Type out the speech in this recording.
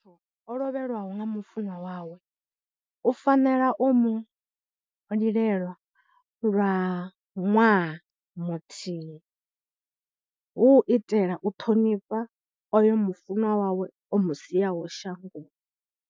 O lovheliwa nga mufunwa wawe u fanela u mu lilela lwa ṅwaha muthihi, hu u itela u ṱhonifha oyo mu funwa wawe o mu siaho shangoni.